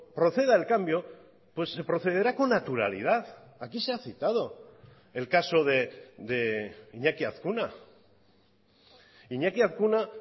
proceda el cambio se procederá con naturalidad aquí se ha citado el caso de iñaki azkuna iñaki azkuna